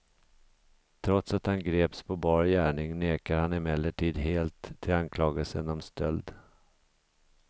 Trots att han greps på bar gärning nekar han emellertid helt till anklagelsen om stöld.